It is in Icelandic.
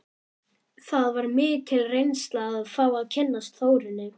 Það var mikil reynsla að fá að kynnast Þórunni.